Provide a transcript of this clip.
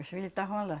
Os filhos tavam lá.